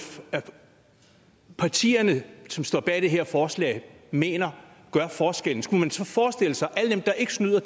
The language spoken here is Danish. partierne som står bag det her forslag mener gør forskellen skulle man så forestille sig at alle dem der ikke snyder